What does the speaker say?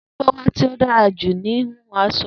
Dupe wà ti o dara ju ni hihun asọ.